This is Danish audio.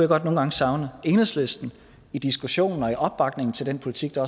godt nogle gange savne enhedslisten i diskussionen og i opbakningen til den politik der